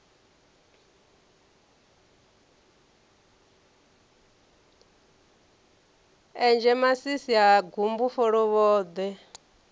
enzhe masisi ha gumbu folovhoḓwe